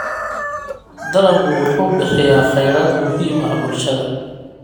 Dalaggu wuxuu bixiyaa kheyraad muhiim ah bulshada.